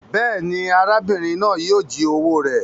Béèni, arábìrin náà yio ji owó rẹ